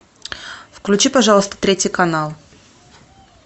включи пожалуйста третий канал